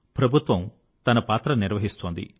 ప్రభుత్వం తన పాత్ర నిర్వహిస్తోంది